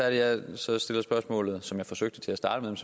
at jeg stiller spørgsmålet som jeg forsøgte til at starte med